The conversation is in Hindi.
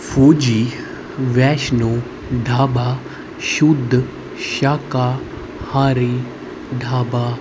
फौजी वैष्णो ढाबा शुद्ध शाका हारी ढाबा--